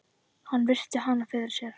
Hann virti hana fyrir sér.